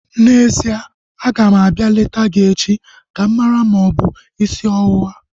N'ezie, aga m abịa leta gị echi ka m mara ma ọ bụ isi ọwụwa